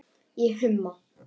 Ég humma.